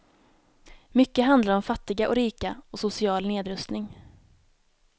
Mycket handlar om fattiga och rika och social nedrustning.